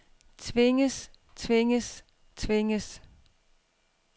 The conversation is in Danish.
tvinges tvinges tvinges